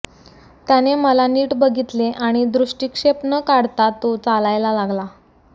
त्याने मला नीट बघितले आणि दृष्टीक्षेप न काढता तो चालायला लागला